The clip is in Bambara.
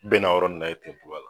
Bɛ na o yɔrɔ in na